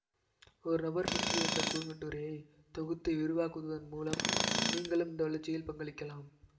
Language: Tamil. ஒரு நபர் பற்றிய இந்த குறுங்கட்டுரையை தொகுத்து விரிவாக்குவதன் மூலம் நீங்களும் இதன் வளர்ச்சியில் பங்களிக்கலாம்